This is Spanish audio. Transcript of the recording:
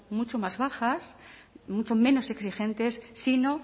mucho más bajas muchos menos exigentes sino